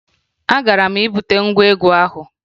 Agwara m gị bute ngwa egwu ahụ!